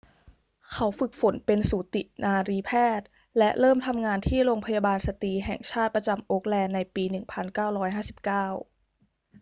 เขาฝึกฝนเป็นสูตินรีแพทย์และเริ่มทำงานที่โรงพยาบาลสตรีแห่งชาติประจำโอ๊คแลนด์ในปี 1959